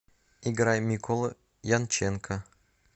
играй микола янченко